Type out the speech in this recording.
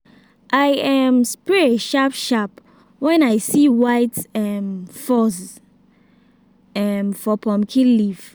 i um spray sharp sharp when i see white um fuzz um for pumpkin leaf.